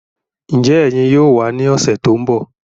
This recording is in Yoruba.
Njẹ ẹyin yóò wà ní ọsẹ tó n bọ?